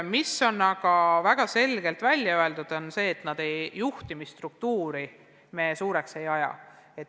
Aga väga selgelt on välja öeldud, et juhtimisstruktuuri me suureks ei aja.